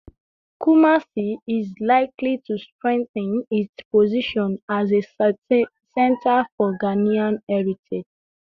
Kumasi is likely to strengthen its position as a center for Ghanaian heritage